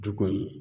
Du kɔnɔ